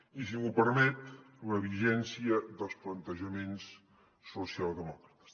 i si m’ho permet la vigència dels plantejaments socialdemòcrates